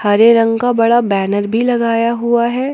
हरे रंग का बड़ा बैनर भी लगाया हुआ है।